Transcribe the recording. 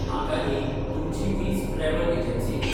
म्हाका न्ही तुमची वीज ट्रॅवल एजन्सी न्ही